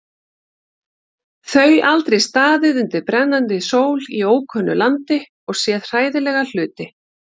Þau aldrei staðið undir brennandi sól í ókunnu landi og séð hræðilega hluti.